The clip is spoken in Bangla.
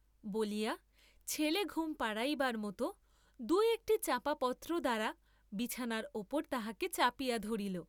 বলিয়া ছেলে ঘুম পাড়াইবার মত দু একটি চাঁপা পত্র দ্বারা বিছানার উপর তাহাকে চাপিয়া ধরিল।